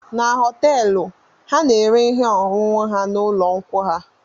Na họteelụ ha na-ere ihe ọṅụṅụ na ụlọ nkwụ ha